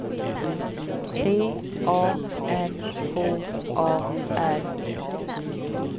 T A N K A R